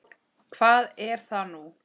Hvað er það nú?